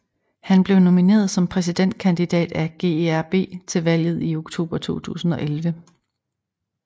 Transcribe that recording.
Han blev nomineret som præsidentkandidat af GERB til valget i oktober 2011